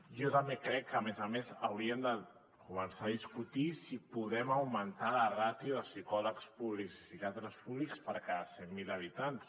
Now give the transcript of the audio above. jo també crec que a més a més hauríem de començar a discutir si podem augmentar la ràtio de psicòlegs públics i psiquiatres públics per cada cent mil habitants